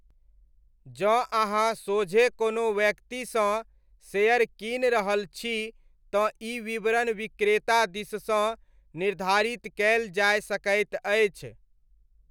जँ अहाँ सोझे कोनो व्यक्तिसँ शेयर कीनि रहल छी तँ ई विवरण विक्रेता दिससँ निर्धारित कयल जाय सकैत अछि।